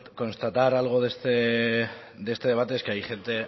que constatar algo de este debate es que hay gente